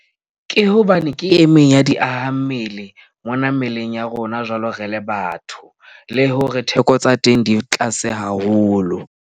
Ke hobane ke e meng ya diahammele mona mmeleng ya rona, jwalo re le batho le hore theko tsa teng di tlase haholo.